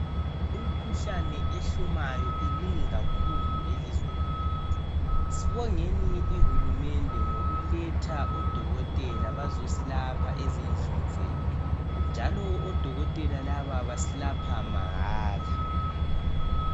Imikhuhlane ehlumayo iminengi kakhulu elizweni lethu sibongeni ihulumende ngokuletha odokotela bazosilapha ezindlini zethu njalo odokotela labo basilapha mahala